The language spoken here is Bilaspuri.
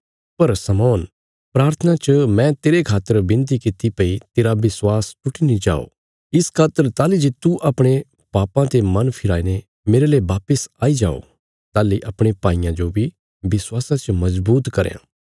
पर शमौन प्राथना च मैं तेरे खातर बिनती किति भई तेरा विश्वास टुटी नीं जाओ इस खातर ताहली जे तू अपणे पापां ते मन फिराई ने मेरले वापस आई जाओ ताहली अपणे भाईयां जो बी विश्वासा च मजबूत करयां